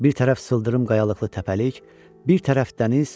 Bir tərəf sıldırım qayalıqlı təpəlik, bir tərəf dəniz.